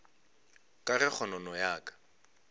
ka ge kgonono ya ka